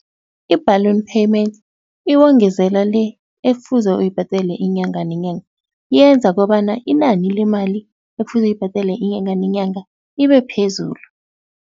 I-balloon payment iwongezela le ekufuze uyibhadele inyanga nenyanga, yenza kobana inani lemali ekufuze uyibhadele inyanga nenyanga ibe phezulu.